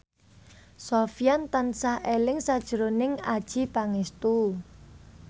Sofyan tansah eling sakjroning Adjie Pangestu